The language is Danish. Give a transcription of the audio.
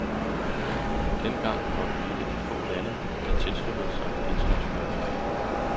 Dengang var vi et af de få lande, der tilsluttede sig de internationale regler.